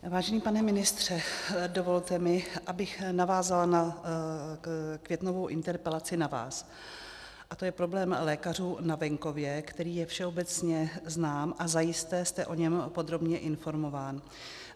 Vážený pane ministře, dovolte mi, abych navázala na květnovou interpelaci na vás, a to je problém lékařů na venkově, který je všeobecně znám a zajisté jste o něm podrobně informován.